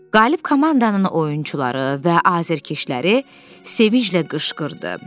Qalib komandanın oyunçuları və azarkeşləri sevinclə qışqırdı.